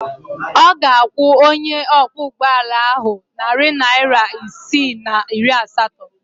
Ọ ga-akwụ onye ọkwọụgbọala ahụ narị naịra isii na iri asatọ.